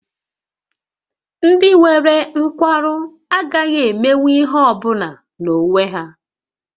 Ndị nwere nkwarụ agaghị emenwu ihe ọ bụla n'onwe ha